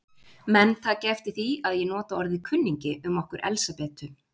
Menn taki eftir því að ég nota orðið kunningi um okkur Elsabetu.